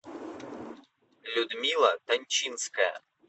людмила тончинская